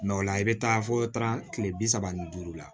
o la i bɛ taa fɔ taara kile bi saba ni duuru la